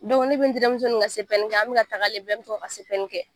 ne be n terimuso nin ka kɛ an be ka tagalen bɛ to kɛ.